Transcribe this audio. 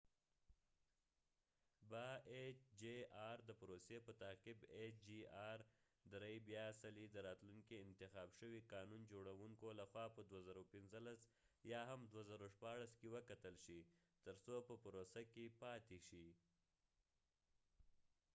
د پروسی په تعقیب ایچ چې آر -3- hjr به بیا څلی د راتلونکې انتخاب شوي قانون جوړونکو له خوا په 2015 یا هم 2016 کې وکتل شي تر څو په پروسه کې پاتی شي